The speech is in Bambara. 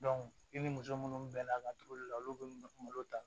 i ni muso munnu bɛ laturu la olu be malo ta